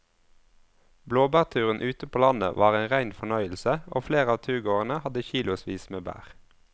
Blåbærturen ute på landet var en rein fornøyelse og flere av turgåerene hadde kilosvis med bær.